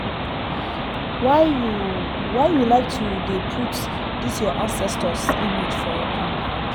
why you why you like to dey put this your ancestors image for your compound?